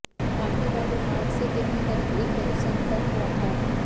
आख़िरी बार विमान से दिन में करीब एक बजे संपर्क हुआ था